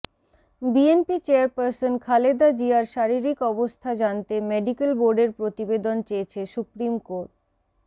BNP chairperson Khaleda জিয়ার শারীরিক অবস্থা জানতে মেডিকেল বোর্ডের প্রতিবেদন চেয়েছে সুপ্রিম কোর